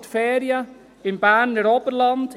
» Machen Sie Ferien im Berner Oberland!